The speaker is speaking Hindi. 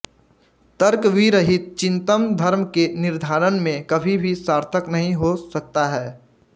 तर्क विरहित चिन्तन धर्म के निर्धारण में कभी भी सार्थक नहीं हो सकता है